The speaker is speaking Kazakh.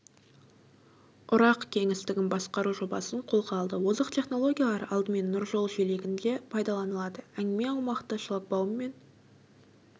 ұрақ кеңістігін басқару жобасын қолға алды озық технологиялар алдымен нұржол желегінде пайдаланылады әңгіме аумақты шлагбауммен